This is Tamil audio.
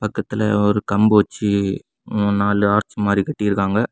இக்கத்துல ஒரு கம்பு வச்சு முனுநாலு ஆர்ச் மாதிரி கட்டிருக்காங்க.